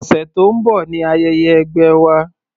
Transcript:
Ọ̀sẹ̀ tó ń bọ̀ ni ayẹyẹ ẹgbẹ́ wa.